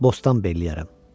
Bostan belliyərəm.